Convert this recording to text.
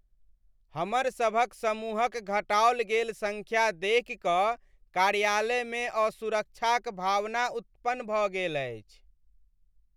हमर सभक समूहक घटाओल गेल संख्या देखि क कार्यालयमे असुरक्षाक भावना उत्पन्न भऽ गेल अछि।